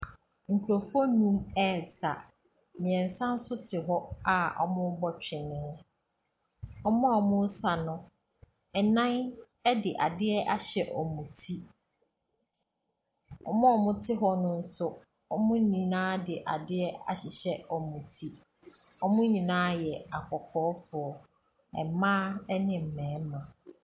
Nkurɔfoɔ nnum resa. Mmeɛnsa nso te hɔ a wɔrebɔ twene. Wɔn a wɔresa no, nnan de adeɛ ahyɛ wɔn ti. Wɔn a wɔte hɔ no nso, wɔn nyinaa de adeɛ ahyehyɛ wɔn ti. Wɔn nyinaa yɛ akɔkɔɔfoɔ. Mmaa ne mmarima.